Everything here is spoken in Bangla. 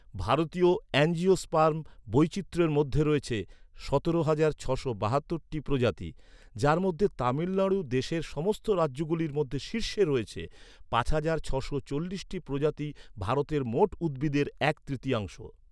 ভারতীয় অ্যাঞ্জিওস্পার্ম বৈচিত্র্যের মধ্যে রয়েছে সতেরো হাজার ছশো বাহাত্তরটি প্রজাতি, যার মধ্যে তামিলনাড়ু দেশের সমস্ত রাজ্যগুলির মধ্যে শীর্ষে রয়েছে, পাঁচ হাজার ছশো চল্লিশটি প্রজাতি, ভারতের মোট উদ্ভিদের এক তৃতীয়াংশ।